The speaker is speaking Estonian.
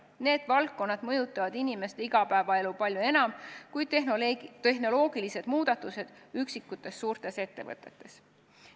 Need valdkonnad mõjutavad inimeste igapäevaelu palju enam kui tehnoloogilised muudatused üksikutes suurtes ettevõtetes.